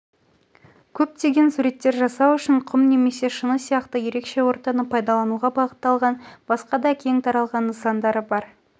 көптеген суреттер жасау үшін құм немесе шыны сияқты ерекше ортаны пайдалануға бағытталған басқа да кең таралған нысандары бар